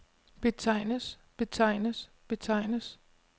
betegnes betegnes betegnes